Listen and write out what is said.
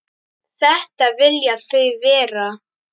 Þetta vilja þau vera.